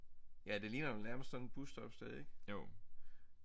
Ja det ligner jo nærmest sådan et bussestoppested ik